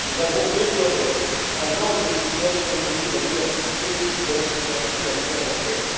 Nous avons déploré un manque de souplesse, compte tenu de la diversité de la situation dans l'Union européenne.